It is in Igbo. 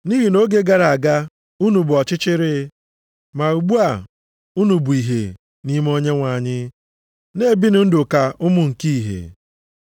Nʼihi nʼoge gara aga, unu bụ ọchịchịrị, ma ugbu a, unu bụ ìhè nʼime Onyenwe anyị. Na-ebinụ ndụ ka ụmụ nke ìhè